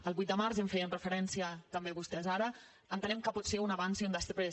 el vuit de març ja hi feien referència també vostès ara entenem que pot ser un abans i un després